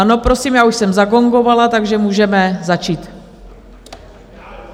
Ano, prosím, já už jsem zagongovala, takže můžeme začít.